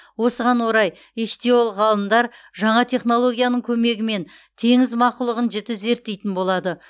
осыған орай ихтиолог ғалымдар жаңа технологияның көмегімен теңіз мақұлығын жіті зерттейтін болады